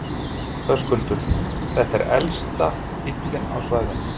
Höskuldur: Þetta er elsti bíllinn á svæðinu?